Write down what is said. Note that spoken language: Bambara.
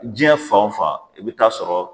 jiɲɛ fan wo fan e be t'a sɔrɔ